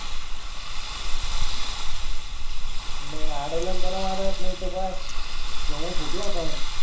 मंग आळल न त्याला मरत नाही त बस सोमु फुटला होता मंग.